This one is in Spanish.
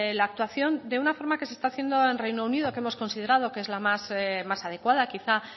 la actuación de una forma que se está haciendo en reino unido que hemos considerado que es la más adecuada quizá